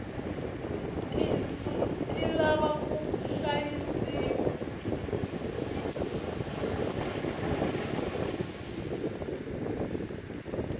tinsu ti lava ku hlayisiwa